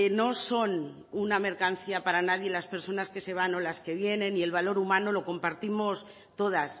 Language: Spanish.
no son una mercancía para nadie las personas que se van o las que vienen y el valor humano lo compartimos todas